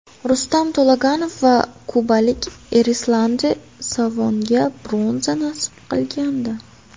Rustam To‘laganov va kubalik Erislandi Savonga bronza nasib qilgandi.